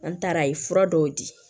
An taara a ye fura dɔw di